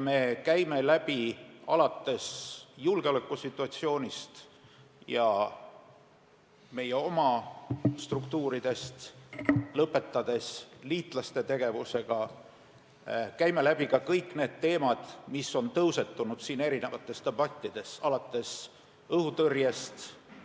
Me käime läbi teemad, alates julgeolekusituatsioonist ja meie oma struktuuridest ning lõpetades liitlaste tegevusega, ka kõik need teemad, mis on tõusetunud siin debattides, alates õhutõrjest ja